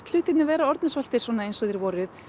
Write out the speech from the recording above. hlutirnir vera orðnir svolítið eins og þeir voru